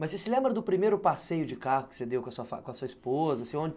Mas você se lembra do primeiro passeio de carro que você deu com a sua esposa?